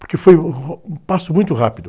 Porque foi, uh, um passo muito rápido.